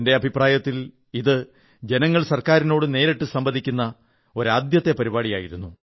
എന്റെ അഭിപ്രായത്തിൽ ഇതു ജനങ്ങൾ ഗവൺമെന്റിനോടു നേരിട്ടു സംവദിക്കുന്ന തരത്തിലുള്ള ആദ്യത്തെ പരിപാടിയായിരുന്നു